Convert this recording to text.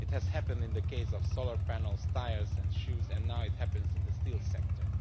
It has happened in the case of solar panels, tyres and shoes, and now it is happening in the steel sector.